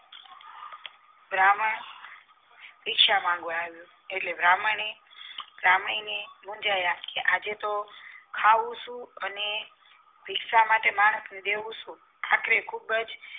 બ્રાહ્મણ ભિક્ષા માંગવા આવ્યો એટલે બ્રાહ્મણ ને ભ્રમણી મૂંજાયા કે આજે તો ખાવુ શું? અને ભિક્ષા માટે માણસ ને દેવું શું? આખરે ખુબજ